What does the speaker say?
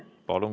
Palun!